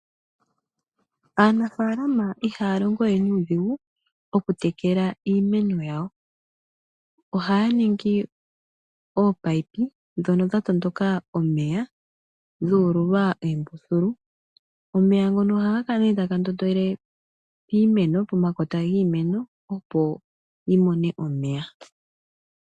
Aanafaalama ihaya longo we nuudhigu okutekela iimeno yawo. Ohaya ningi ominino ndhono dha matuka omeya dhu ululwa oombululu. Omeya ngono ohaga kala nee taga ndondele piimemo pomakota giimeno opo yimone omeya